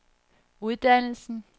uddannelsen